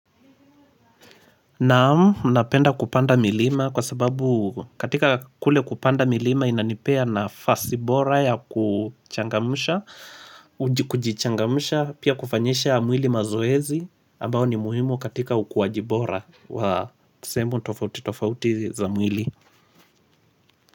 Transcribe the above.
Naam napenda kupanda milima kwa sababu katika kule kupanda milima inanipea nafasi bora ya kuchangamsha kujichangamusha pia kufanyisha mwili mazoezi ambao ni muhimu katika ukuaji bora wa sehemu tofauti tofauti za mwili.